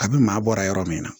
A bi maa bɔra yɔrɔ min na